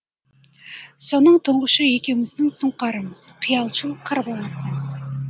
соның тұңғышы екеуміздің сұңқарымыз қиялшыл қыр баласы